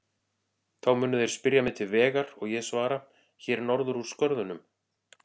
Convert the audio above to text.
Þá munu þeir spyrja mig til vegar og ég svara: Hér norður úr skörðunum.